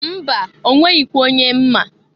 Mba! Onweghikwa onye m ma.